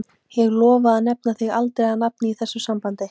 Ég lofa að nefna þig aldrei á nafn í þessu sambandi.